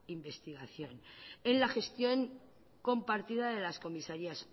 investigación en la gestión compartida de las comisarías